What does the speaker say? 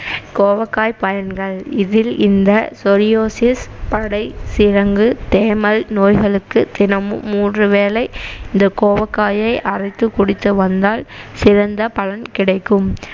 கோவக்காய் பயன்கள் இதில் இந்த சொரியோசிஸ், படை, சிரங்கு, தேமல் நோய்களுக்கு தினமும் மூன்று வேலை இந்த கோவக்காயை அறைத்து குடித்து வந்தால் சிறந்த பலன் கிடைக்கும்